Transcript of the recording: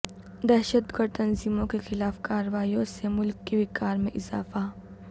دہشت گرد تنظیموں کے خلاف کارروائیوں سے ملک کے وقار میں اضافہ